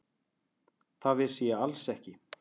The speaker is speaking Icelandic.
Það vissi ég alls ekki.